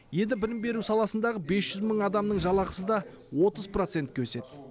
енді білім беру саласындағы бес жүз мың адамның жалақысы да отыз процентке өседі